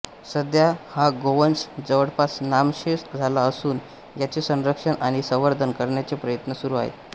सध्या हा गोवंश जवळपास नामशेष झाला असून याचे संरक्षण आणि संवर्धन करण्याचे प्रयत्न सुरू आहेत